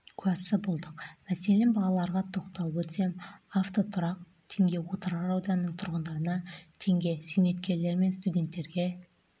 куәсі болдық мәселен бағаларға тоқталып өтсем автотұрақ теңге отырар ауданының тұрғындарына теңге зейнеткерлер мен студенттерге